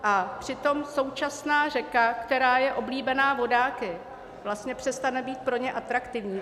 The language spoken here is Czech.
A přitom současná řeka, která je oblíbená vodáky, vlastně přestane být pro ně atraktivní.